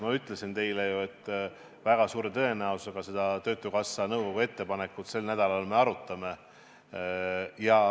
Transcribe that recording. Ma ütlesin teile ju, et väga suure tõenäosusega me seda töötukassa nõukogu ettepanekut sel nädalal arutame.